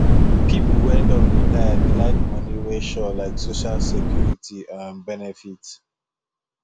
people wey don retire dey like money wey sure like social security um benefit